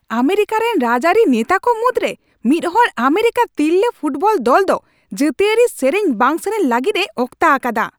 America ᱨᱮᱱ ᱨᱟᱡᱽᱟᱹᱨᱤ ᱱᱮᱛᱟ ᱠᱚ ᱢᱩᱫᱽᱨᱮ ᱢᱤᱫᱦᱚᱲ ᱟᱢᱮᱨᱤᱠᱟ ᱛᱤᱨᱞᱟᱹ ᱯᱷᱩᱴᱵᱚᱞ ᱫᱚᱞ ᱫᱚ ᱡᱟᱹᱛᱤᱭᱟᱹᱨᱤ ᱥᱮᱨᱮᱧ ᱵᱟᱝ ᱥᱮᱨᱮᱧ ᱞᱟᱹᱜᱤᱫᱼᱮ ᱚᱠᱛᱟ ᱟᱠᱟᱫᱟ ᱾